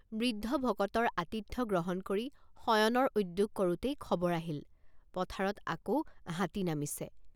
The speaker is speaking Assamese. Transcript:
বৃদ্ধ ভকতৰ আতিথ্য গ্ৰহণ কৰি শয়নৰ উদ্যোগ কৰোঁতেই খবৰ আহিল পথাৰত আকৌ হাতী নামিছে ।